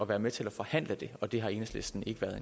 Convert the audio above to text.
være med til at forhandle det og det har enhedslisten ikke været